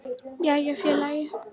Jæja félagi!